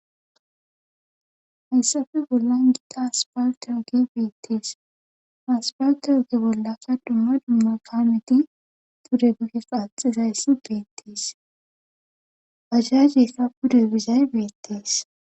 Hayssafe bollan gita asfeltte ogey beettees ha asafaltte oge bollaka duma dumma kaameti pude duge qaaxxizayssi beetees bajaajeyka pude bizay beettees.